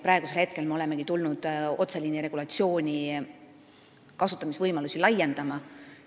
Praegu me olemegi hakanud otseliini kasutamise võimalusi laiendama.